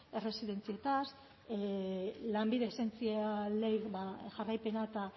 erresidentziez lanbide esentzialei jarraipena eta